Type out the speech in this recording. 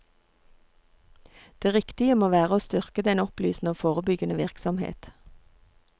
Det riktige må være å styrke den opplysende og forebyggende virksomhet.